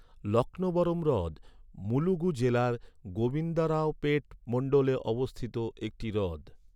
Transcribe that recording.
লক্ষ্ণবরম হ্রদ মুলুগু জেলার গোবিন্দারাওপেট মন্ডলে অবস্থিত একটি হ্রদ।